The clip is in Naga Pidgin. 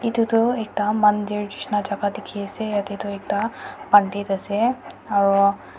etu ekta mandir nishina jaga de diki ase yete tu ekta bandit ase aro.